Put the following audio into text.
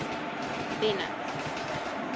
bennet